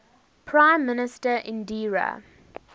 prime minister indira